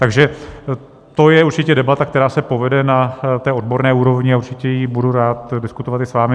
Takže to je určitě debata, která se povede na té odborné úrovni, a určitě ji budu rád diskutovat i s vámi.